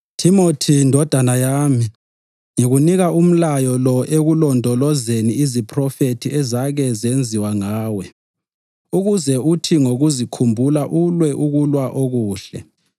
Thimothi ndodana yami, ngikunika umlayo lo ekulondolozeni iziphrofethi ezake zenziwa ngawe ukuze uthi ngokuzikhumbula ulwe ukulwa okuhle,